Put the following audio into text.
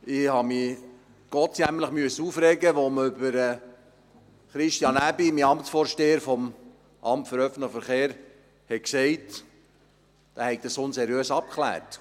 Denn ich habe mich gottsjämmerlich aufregen müssen, als man über Christian Aebi, meinen Vorgänger im Amt für öffentlichen Verkehr, sagte, er habe das unseriös abgeklärt.